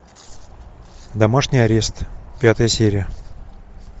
домашний арест пятая серия